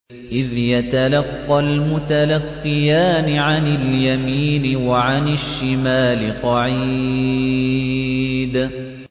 إِذْ يَتَلَقَّى الْمُتَلَقِّيَانِ عَنِ الْيَمِينِ وَعَنِ الشِّمَالِ قَعِيدٌ